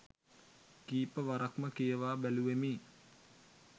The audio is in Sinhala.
කීප වරක්ම කියවා බැලුවෙමි.